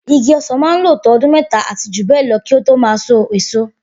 Igi ọsán máa n lo to ọdún méta àti jù bẹẹ lọ kí o to máa sọ èso